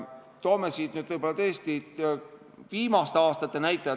Toome nüüd siin viimaste aastate näitajad.